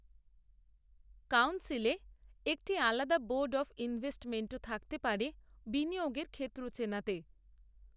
কাউন্সিলে, একটি আলাদা বোর্ড অব ইনভেস্টমেন্টও থাকতে পারে, বিনিয়োগের ক্ষেত্র চেনাতে